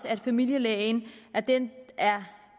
at familielægen er den